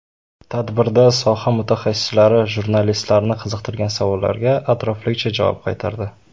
Tadbirda soha mutaxassislari jurnalistlarni qiziqtirgan savollarga atroflicha javob qaytardi.